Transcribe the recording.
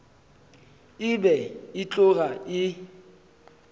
e be e tloga e